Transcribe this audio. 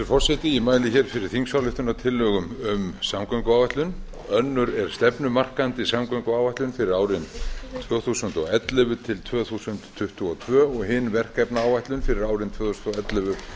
forseti ég mæli fyrir þingsályktunartillögum um samgönguáætlanir önnur er stefnumarkandi samgönguáætlun fyrir árin tvö þúsund og ellefu til tvö þúsund tuttugu og tvö og hin verkefnaáætlun fyrir árin tvö þúsund og ellefu